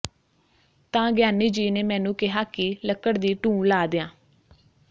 ਤਾਂ ਗਿਆਨੀ ਜੀ ਨੇ ਮੈਨੂੰ ਕਿਹਾ ਕਿ ਲੱਕੜ ਦੀ ਢੂੰਹ ਲਾ ਦਿਆਂ